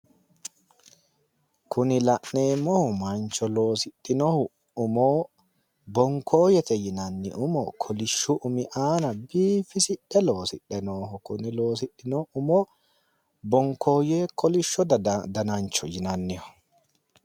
Kuni la'neemohu mancho loosidhinohu umo bonkooyete yinanni umo kolishshu umi aana biifisidhe loosidhe nooho kuni loosidhino umo bonkooye kolishsho daga danancho yinanniho